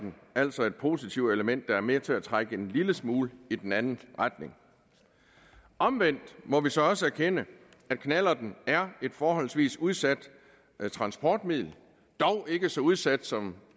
altså et positivt element der er med til at trække en lille smule i den anden retning omvendt må vi så også erkende at knallerten er et forholdsvis udsat transportmiddel dog ikke så udsat som